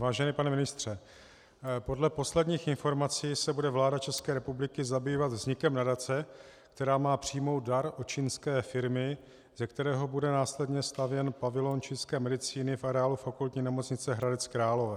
Vážený pane ministře, podle posledních informací se bude vláda České republiky zabývat vznikem nadace, která má přijmout dar od čínské firmy, ze kterého bude následně stavěn pavilon čínské medicíny v areálu Fakultní nemocnice Hradec Králové.